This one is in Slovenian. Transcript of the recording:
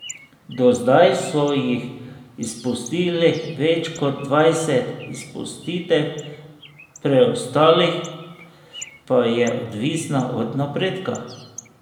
Do zdaj so jih izpustili več kot dvajset, izpustitev preostalih pa je odvisna od napredka.